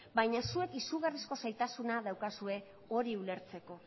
baina zuek izugarrizko zailtasuna daukazue hori ulertzeko